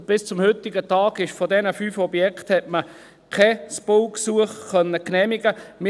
Bis zum heutigen Tag hat man von diesen fünf Objekten kein Baugesuch genehmigen können.